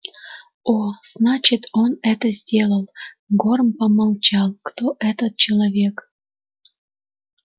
о значит он это сделал горм помолчал кто этот человек